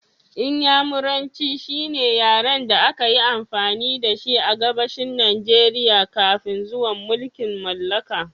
Inyamuranci shine yaren da aka yi amfani da shi a Gabashin Najeriya kafin zuwan mulkin mallaka